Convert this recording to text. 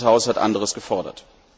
Dieses Haus hat anderes gefordert.